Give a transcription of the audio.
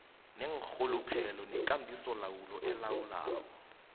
neenrhuluphelo nekambisolawulo elawula